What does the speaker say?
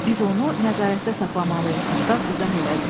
Biz onu nəzarətdə saxlamalıyıq, Qustav izah elədi.